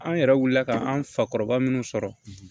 An yɛrɛ wulila ka an fakɔrɔba minnu sɔrɔ